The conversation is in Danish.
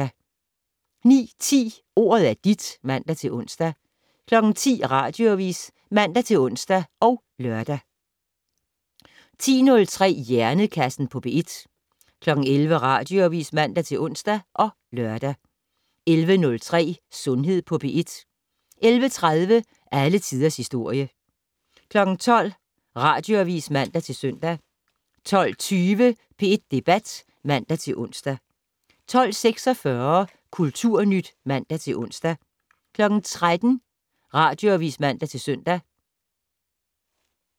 09:10: Ordet er dit (man-ons) 10:00: Radioavis (man-ons og lør) 10:03: Hjernekassen på P1 11:00: Radioavis (man-ons og lør) 11:03: Sundhed på P1 11:30: Alle tiders historie 12:00: Radioavis (man-søn) 12:20: P1 Debat (man-ons) 12:46: Kulturnyt (man-ons) 13:00: Radioavis (man-søn)